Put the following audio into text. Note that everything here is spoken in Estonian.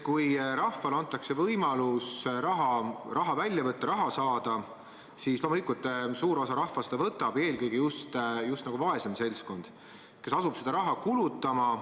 Kui rahvale antakse võimalus raha välja võtta, raha saada, siis loomulikult suur osa rahvast võtab selle välja, eelõige just vaesem seltskond, kes asub seda raha kulutama.